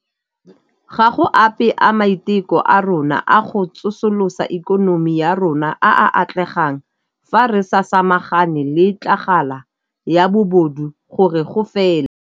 Ga go ape a maiteko a rona a go tsosolosa ikonomi ya rona a a tla atlegang fa re sa samagane le tlhagala ya bobodu gore go fele.